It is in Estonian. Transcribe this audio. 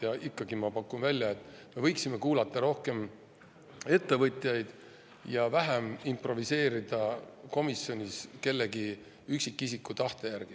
Ja ikkagi ma pakun välja, et me võiksime kuulata rohkem ettevõtjaid ja vähem improviseerida komisjonis kellegi üksikisiku tahte järgi.